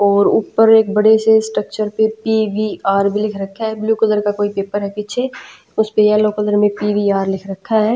और ऊपर एक बड़े से स्ट्रक्चर पे पी_वी_आर भी लिख रखा है ब्लू कलर का कोई पेपर है पीछे उस पे येलो कलर में पी_वी_आर लिख रखा है।